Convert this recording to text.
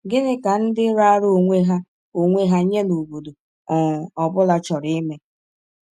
Gịnị ka ndị raara onwe ha onwe ha nye n’obodo um ọ bụla chọrọ ime?